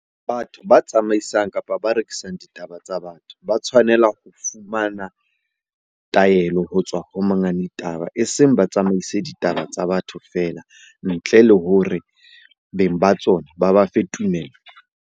Batho ba tsamaisang kapa ba rekisang ditaba tsa batho, ba tshwanela ho fumana taelo ho tswa ho monga ditaba. Eseng ba tsamaise ditaba tsa batho feela ntle le hore beng ba tsona ba ba fe tumello.